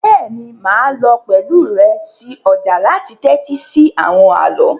Béèni máà lo pẹ̀lu rẹ si ojà láti tẹ́tí si àwon àló